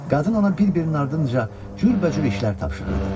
Qadın ona bir-birinin ardınca cürbəcür işlər tapşırırdı.